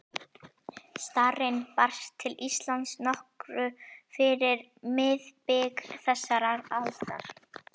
Starrinn barst til Íslands nokkru fyrir miðbik þessarar aldar